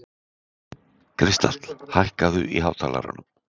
Kristall, hækkaðu í hátalaranum.